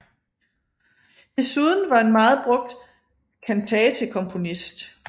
Desuden var en meget brugt kantatekomponist